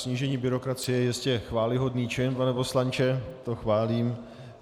Snížení byrokracie je jistě chvályhodný čin, pane poslanče, to chválím.